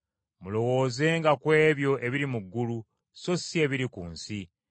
Mulowoozenga ku ebyo ebiri mu ggulu, so si ebiri ku nsi,